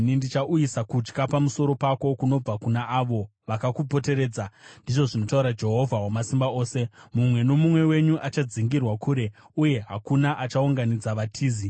Ndichauyisa kutya pamusoro pako kunobva kuna avo vakakupoteredza,” ndizvo zvinotaura Jehovha Wamasimba Ose. “Mumwe nomumwe wenyu achadzingirwa kure, uye hakuna achaunganidza vatizi.